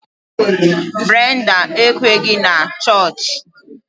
Brenda ekweghị na ịga chọọchị